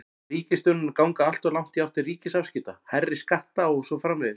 Er ríkisstjórnin að ganga alltof langt í átt til ríkisafskipta, hærri skatta og svo framvegis?